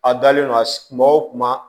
A dalen no a kuma o kuma